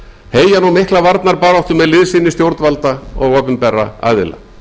heyja nú mikla varnarbaráttu með liðsinni stjórnvalda og opinberra aðila